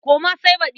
Koma sai baɗi.